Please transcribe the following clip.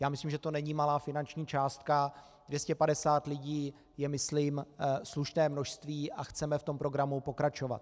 Já myslím, že to není malá finanční částka, 250 lidí je myslím slušné množství a chceme v tom programu pokračovat.